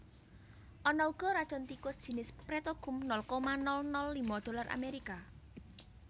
Ana uga racun tikus jinis petrokum nol koma nol nol lima dolar Amerika